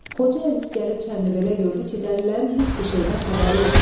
Xoca Əziz gəlib Çənlibelə gördü ki, dəlilərin heç bir şeydən xəbəri yoxdur.